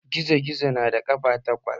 Gizo-gizo na da ƙafa takwas